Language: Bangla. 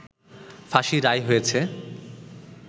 ফাঁসির রায় হয়েছে